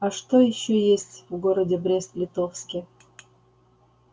а что ещё есть в городе брест-литовске